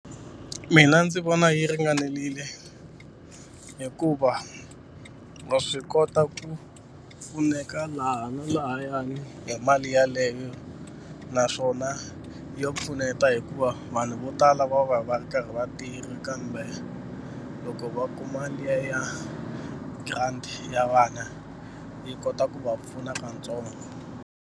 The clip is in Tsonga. Mina ndzi vona yi ringanelile hikuva wa swi kota ku pfuneka laha na lahayani hi mali yeleyo naswona ya pfuneta hikuva vanhu vo tala va va va ri karhi va tirha kambe loko va kuma liya ya grant ya vana yi kota ku va pfuna katsongo.